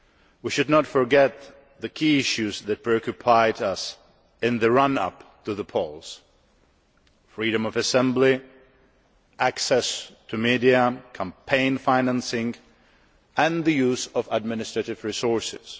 We should not forget the key issues that preoccupied us in the run up to the polls freedom of assembly, access to the media, campaign financing, and the use of administrative resources.